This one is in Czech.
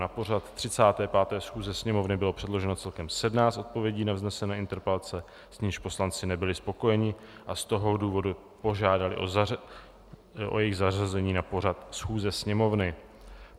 Na pořad 35. schůze Sněmovny bylo předloženo celkem 17 odpovědí na vznesené interpelace, s nimiž poslanci nebyli spokojeni, a z toho důvodu požádali o jejich zařazení na pořad schůze Sněmovny.